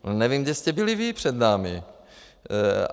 Nevím, kde jste byli vy před námi.